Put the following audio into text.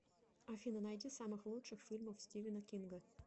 афина найди самых лучших фильмов стивена кинга